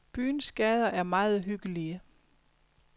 Byens gader er meget hyggelige.